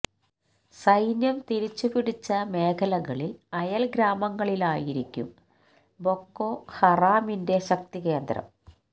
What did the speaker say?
സൈന്യം തിരിച്ചു പിടിച്ച മേഖലകളിൽ അയൽ ഗ്രാമങ്ങളിലായിരിക്കും ബൊക്കോ ഹറാമിന്റെ ശക്തികേന്ദ്രം